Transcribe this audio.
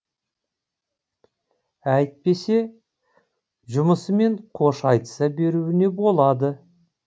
әйтпесе жұмысымен қош айтыса беруіне болады